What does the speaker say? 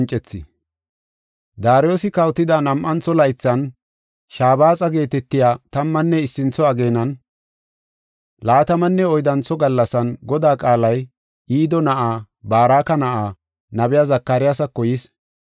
Daariyosi kawotida nam7antho laythan, Shabaaxa geetetiya tammanne issintho ageenan, laatamanne oyddantho gallasan, Godaa qaalay Ido na7aa, Baraka na7aa, nabiya Zakariyasako yis.